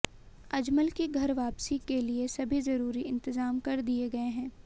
अजमल की घर वापसी के लिए सभी जरूरी इंतजाम कर दिए गए हैं